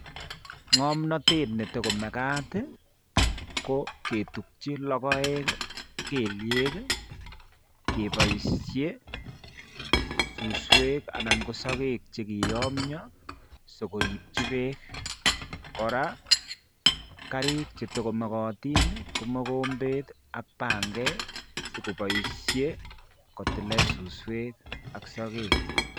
Nya'mnatet nee tukomakati ko kee tubchi lokoek kelnyek kee boishei suswek anan koo sokeek che kii nyamnyo si koribchi beek kora karik che tuko mokotin ko mokombet ak panget si ko boishei ko tilee suswek ak sokek